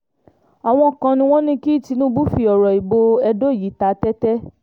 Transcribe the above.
àwọn kan ni wọ́n ní kí tinúbù fi ọ̀rọ̀ ìbò edo yìí ta tẹ́tẹ́